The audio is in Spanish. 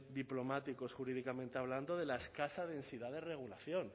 diplomáticos jurídicamente hablando de la escasa densidad de regulación